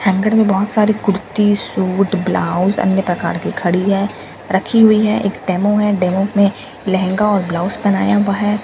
hanger में बहुत सारे कुर्ती सूट ब्लाउज अन्य प्रकार के घड़ी है रखी हुई है एक डेमो है डेमो में लहँगा और ब्लाउज पहनाया हुआ है --